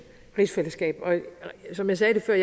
rigsfællesskab og som jeg sagde før